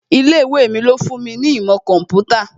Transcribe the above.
Ilé ìwé mi ló fún mi ní ìmọ̀ kọ̀ḿpútà